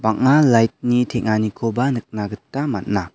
bang·a light -ni teng·anikoba nikna gita man·a.